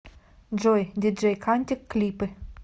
джой диджей кантик клипы